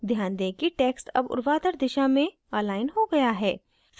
ध्यान दें कि text अब ऊर्ध्वाधर दिशा में अलाइन हो गया है